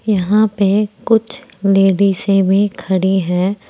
यहां पे कुछ लेडिसे भी खड़ी है।